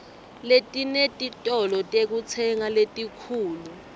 letinetitolo tekutsenga letinkhulu